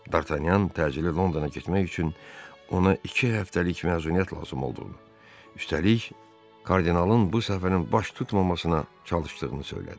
Dartanyan təcili Londona getmək üçün ona iki həftəlik məzuniyyət lazım olduğunu, üstəlik, kardinalın bu səfərin baş tutmamasına çalışdığını söylədi.